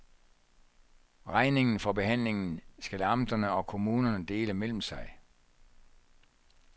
Regningen for behandlingen skal amterne og kommunerne dele mellem sig.